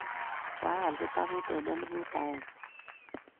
koal kitabut eng' elfut agenge